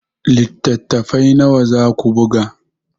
Littattafai nawa za ku buga?